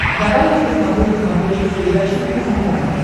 давай я посмотрю на смотрешке передачу кухня тв